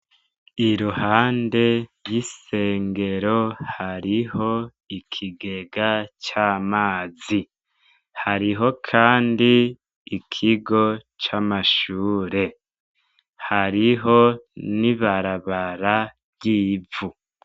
Iruhande ryisengero hariho ikigega c'amazi, hariho kandi ikigo c'amashure, hariho n'ibarabara ry'ivu.